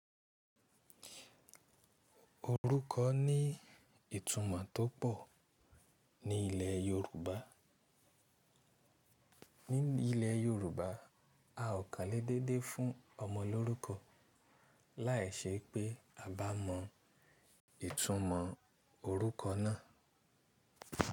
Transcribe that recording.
Orúkọ ní ìtumọ̀ tó pọ̀ ní ilẹ̀ Yorùbá. Ní ilẹ̀ yorùbá a ò kàn lè dédé fún ọmọ lórúkọ láìṣe pé a bá mọ ìtunmọ̀ orúkọ náà.